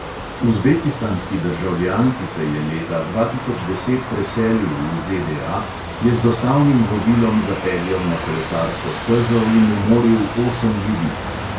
Uzbekistanski državljan, ki se je leta dva tisoč deset preselil v ZDA, je z dostavnim vozilom zapeljal na kolesarsko stezo in umoril osem ljudi.